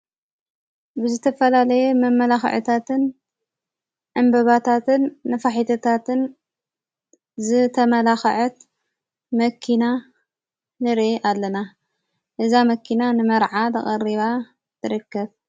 ብዝተፈላለየ መመላኽዕታትን ፣ ዕምበባታትን ኖፋሒቶታትን ዝተመላኽዐት መኪና ንርኢ ኣለና። እዛ መኪና ንመርዓ ተቐሪባ ትርከ።